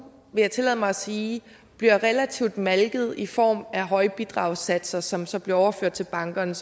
vil jeg tillade mig at sige relativt set malket i form af høje bidragssatser som så bliver overført til bankerne